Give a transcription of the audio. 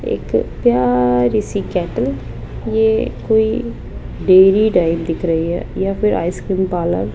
एक प्यारी सी केट्टल ये कोई डेयरी टाइप दिख रही है या फिर आइसक्रीम पार्लर --